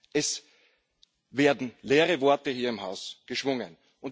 Es werden leere Worte hier im Haus geschwungen.